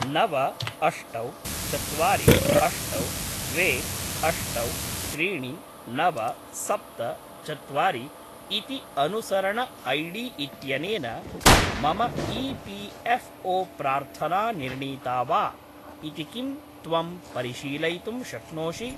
नव अष्टौ चत्वारि अष्टौ द्वे अष्टौ त्रीणि नव सप्त चत्वारि इति अनुसरण ऐडी इत्यनेन मम ई.पी.एफ़्.ओ.प्रार्थना निर्णीता वा इति किं त्वं परिशीलयितुं शक्नोषि?